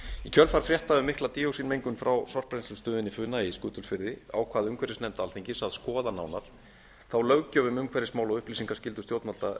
í kjölfar fréttar um mikla díoxínmengun frá sorpbrennslustöðinni funa í skutulsfirði ákvað umhverfisnefnd alþingis að skoða nánar þá löggjöf um umhverfismál og upplýsingaskyldu stjórnvalda